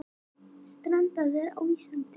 Strandaðir á Íslandi